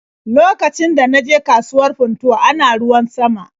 Lokacin da na je kasuwar Funtuwa ana ruwan sama.